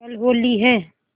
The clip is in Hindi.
कल होली है